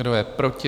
Kdo je proti?